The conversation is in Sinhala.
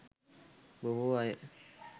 බොහෝ අය